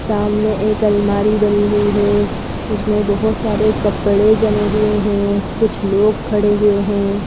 सामने एक अलमारी बनी हुई है उसमें बहुत सारे कपड़े जमे हुए हैं कुछ लोग खड़े हुए हैं।